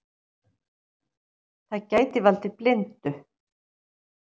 Það gæti valdið blindu.